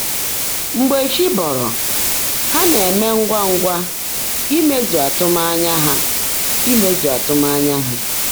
Mgbe chį́ bọ́rọ́, há ná-èmé ńgwá ńgwá ímezú ạ́tụ́mányá há. ímezú ạ́tụ́mányá há.